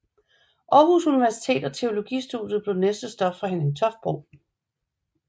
Aarhus Universitet og teologistudiet blev næste stop for Henning Toft Bro